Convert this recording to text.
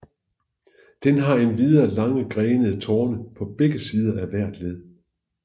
Den har endvidere lange grenede torne på begger sider af hvert led